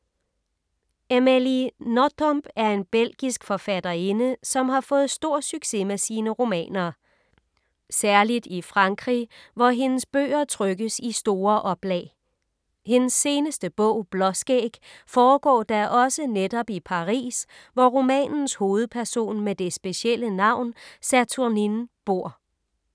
Amelie Nothomb er en belgisk forfatterinde, som har fået stor succes med sine romaner. Særligt i Frankrig, hvor hendes bøger trykkes i store oplag. Hendes seneste bog Blåskæg foregår da også netop i Paris, hvor romanens hovedperson med det specielle navn Saturnine bor.